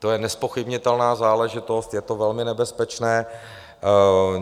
To je nezpochybnitelná záležitost, je to velmi nebezpečné.